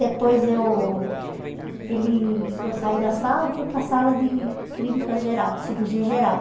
Depois eu ele eu saí da sala e fui para a sala de clínica geral cirurgia geral.